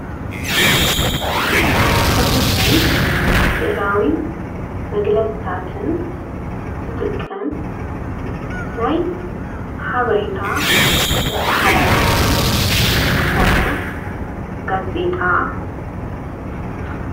ጽሑፍን ስእላዊ መግለጽታትን ዘጥቅም ናይ ሓበሬታ መተኃላለፊ ዘኾነ ጋዜጣ እዩ